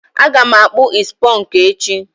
Aga m akpụ is ponku echi.